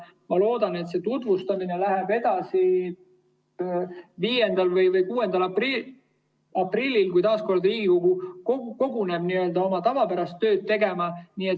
Ma loodan, et see tutvustamine läheb edasi 5. või 6. aprillil, kui Riigikogu taas kord koguneb oma tavapärast tööd tegema.